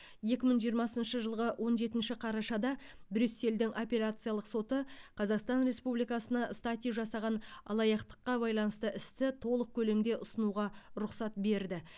екі мың жиырмасыншы жылғы он жетінші қарашада брюссельдің апелляциялық соты қазақстан республикасына стати жасаған алаяқтыққа байланысты істі толық көлемде ұсынуға рұқсат берді